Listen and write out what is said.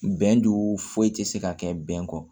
Bɛndo foyi tɛ se ka kɛ bɛn kɔ